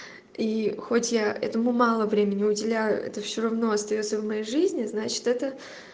и хоть я этому мало времени уделяю это все равно остаётся в моей жизни значит это